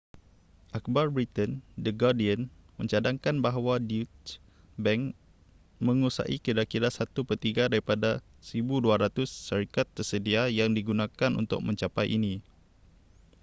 akhbar britain the guardian mencadangkan bahawa deutsche bank menguasai kira-kira satu pertiga daripada 1200 syarikat tersedia yang digunakan untuk mencapai ini